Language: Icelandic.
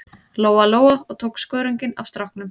Lóa-Lóa og tók skörunginn af stráknum.